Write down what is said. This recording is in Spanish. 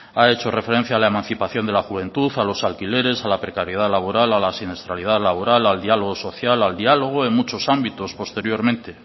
ha hecho referencia a la emancipación de la juventud a los alquileres a la precariedad laboral a la siniestralidad laboral al diálogo social al diálogo en muchos ámbitos posteriormente